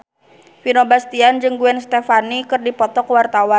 Vino Bastian jeung Gwen Stefani keur dipoto ku wartawan